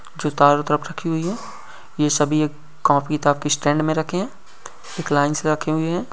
जो चारों तरफ रखी हुई है। ये सभी एक कापी किताब के स्टैन्ड मे रखें है। एक लाइन से रखे हुए हैं।